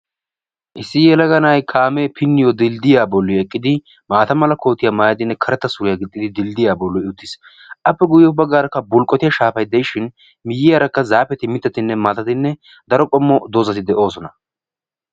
issi yelaga kaamee pinniyoo dilddiyaa boolli eqqidi maata mera kootiyaa maayidinne karetta suriyaa giixxidi dilddiyaa bolli uttiis. appe ya baggaarakka bulqqotiyaa shaafay de'ishin miyyiyaarakka zaapeti mittatinne maatatinne daro qommo doozzati de"oosona.